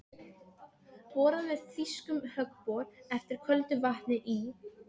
Borað með þýskum höggbor eftir köldu vatni í